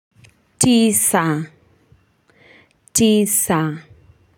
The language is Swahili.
Tisa, tisa.